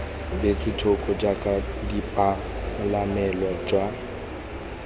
beetswe thoko jaaka bopalamelo jwa